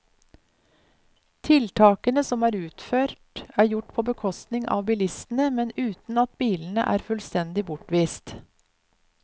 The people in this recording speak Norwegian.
Tiltakene som er utført, er gjort på bekostning av bilistene, men uten at bilene er fullstendig bortvist.